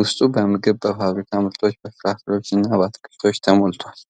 ውስጡ በምግብ፣ በፋብሪካ ምርቶች፣ በፍራፍሬዎች እና በአትክልቶች ተሞልቷል።